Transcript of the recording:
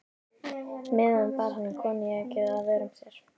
meðan bar hann koníakið að vörum sér.